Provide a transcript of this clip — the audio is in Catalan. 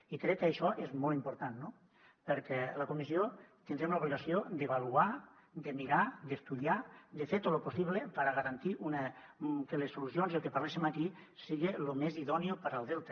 i crec que això és molt important no perquè la comissió tindrem l’obligació d’avaluar de mirar d’estudiar de fer tot lo possible per a garantir que les solucions i el que parléssim aquí siga lo més idóneo per al delta